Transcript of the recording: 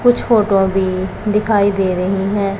कुछ फोटो भी दिखायी दे रहीं हैं।